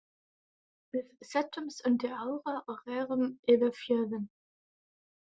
Við settumst undir árar og rerum yfir fjörðinn.